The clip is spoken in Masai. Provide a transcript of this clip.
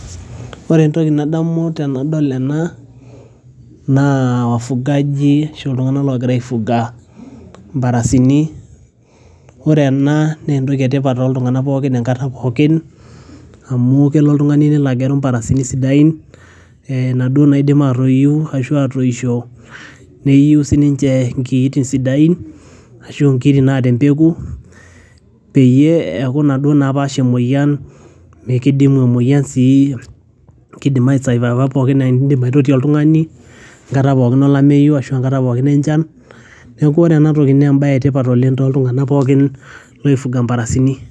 Ore entoki nadamu tanadol ena naa wafugaji ashu iltung'ana ogira ai fuga mparasini. Ore ena naa entoki etipat toltung'ana pooki enkata pooki amu kelo oltung'ani neli agelu imparasini sidain naduo naidim atoyu ashu atoisho neyiu sii ninche kiotin sidain ashu nkiotin naata empeku, peyie eeku naduo naapaash emoyian ,kidumu emoyian sii kidiamu saai pookin idim ake atotio oltung'ani, enkata pookin olameyu ashu enkata pookin enchan, neeku ore ena tooki naa ebaye etipat oleng' toltung'ana pooki loi fuga mparasin.